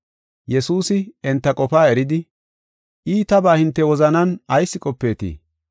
Yesuusi enta qofaa eridi, “Iitabaa hinte wozanan ayis qopeetii?